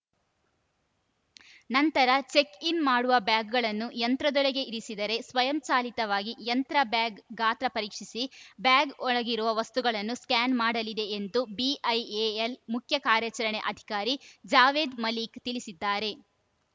ನಂತರ ಚೆಕ್‌ಇನ್‌ ಮಾಡುವ ಬ್ಯಾಗ್‌ಗಳನ್ನು ಯಂತ್ರದೊಳಗೆ ಇರಿಸಿದರೆ ಸ್ವಯಂಚಾಲಿತವಾಗಿ ಯಂತ್ರ ಬ್ಯಾಗ್‌ ಗಾತ್ರ ಪರೀಕ್ಷಿಸಿ ಬ್ಯಾಗ್‌ ಒಳಗಿರುವ ವಸ್ತುಗಳನ್ನೂ ಸ್ಕ್ಯಾನ್ ಮಾಡಲಿದೆ ಎಂದು ಬಿಐಎಎಲ್‌ ಮುಖ್ಯ ಕಾರ್ಯಾಚರಣೆ ಅಧಿಕಾರಿ ಜಾವೇದ್‌ ಮಲಿಕ್‌ ತಿಳಿಸಿದ್ದಾರೆ